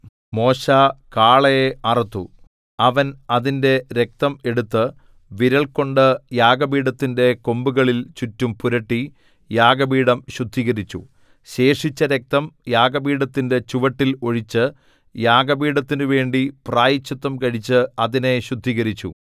മോശെ കാളയെ അറുത്തു അവൻ അതിന്റെ രക്തം എടുത്തു വിരൽകൊണ്ട് യാഗപീഠത്തിന്റെ കൊമ്പുകളിൽ ചുറ്റും പുരട്ടി യാഗപീഠം ശുദ്ധീകരിച്ചു ശേഷിച്ച രക്തം യാഗപീഠത്തിന്റെ ചുവട്ടിൽ ഒഴിച്ച് യാഗപീഠത്തിനുവേണ്ടി പ്രാശ്ചിത്തം കഴിച്ച് അതിനെ ശുദ്ധീകരിച്ചു